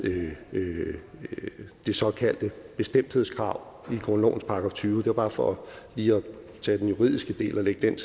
det såkaldte bestemthedskrav i grundlovens § tyvende det var bare for lige at tage den juridiske del og lægge den